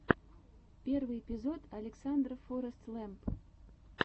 первый эпизод александра форэстлэмп